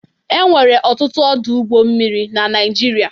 Enwere ọtụtụ ọdụ ụgbọ mmiri na Naijiria.